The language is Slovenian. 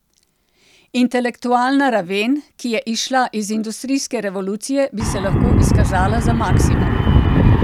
Intelektualna raven, ki je izšla iz industrijske revolucije, bi se lahko izkazala za maksimum.